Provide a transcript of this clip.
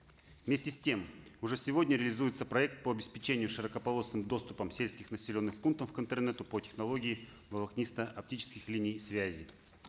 вместе с тем уже сегодня реализуется проект по обеспечению широкополосным доступом сельских населенных пунктов к интернету по технологии волокнисто оптических линий связи